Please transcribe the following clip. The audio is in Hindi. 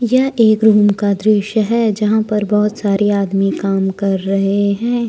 यह एक रूम का दृश्य है यहां पर बहुत सारे आदमी काम कर रहे हैं।